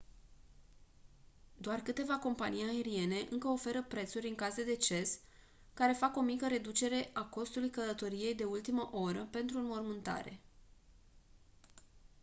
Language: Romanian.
doar câteva companii aeriene încă oferă prețuri în caz de deces care fac o mică reducere a costului călătoriei de ultima oră pentru o înmormântare